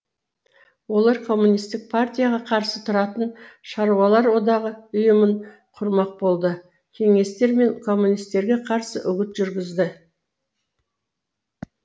олар коммунистік партияға қарсы тұратын шаруалар одағы ұйымын құрмақ болды кеңестер мен коммунистерге қарсы үгіт жүргізді